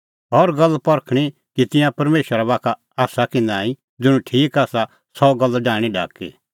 हर गल्ल परखणीं कि तिंयां परमेशरा बाखा आसा कि नांईं ज़ुंण ठीक आसा सह गल्ल डाहणीं ढाकी